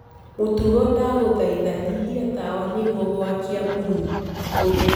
mutugo ndagũthaĩtha nyĩhĩa tawa niguo gwakia burũũ. huthu